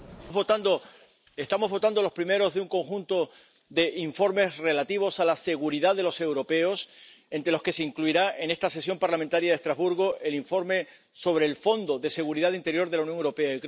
Señora presidenta, estamos votando los primeros de un conjunto de informes relativos a la seguridad de los europeos entre los que se incluirá, en esta sesión parlamentaria de Estrasburgo, el informe sobre el Fondo de Seguridad Interior de la Unión Europea.